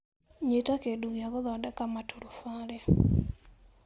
Nyita kĩndũ gĩa gũthondeka maturubarĩ